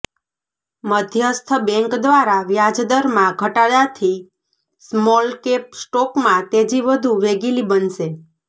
મધ્યસ્થ બેંક દ્વારા વ્યાજદરમાં ઘટાડાથી સ્મોલકેપ સ્ટોકમાં તેજી વધુ વેગીલી બનશે